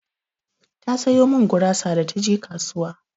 Ta sayo min gurasa da taje kasuwa.